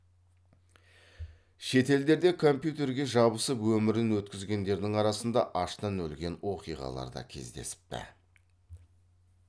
шетелдерде компьютерге жабысып өмірін өткізгендердің арасында аштан өлген оқиғалар да кездесіпті